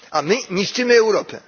A my niszczymy Europę.